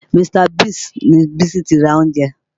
Mr. Biggs ni Bísí ti ra oúnjẹ